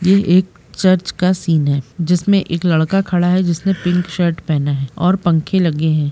ये एक चर्च का सीन है जिसमें एक लड़का खड़ा है जिसने पिंक शर्ट पहना है और पंखे लगे है।